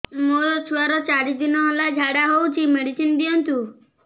ମୋର ଛୁଆର ଚାରି ଦିନ ହେଲା ଝାଡା ହଉଚି ମେଡିସିନ ଦିଅନ୍ତୁ